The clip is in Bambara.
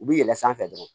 U bɛ yɛlɛn sanfɛ dɔrɔn